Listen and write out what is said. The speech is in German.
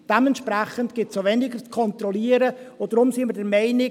Dementsprechend gibt es weniger zu kontrollieren, und deshalb sind wir der Meinung: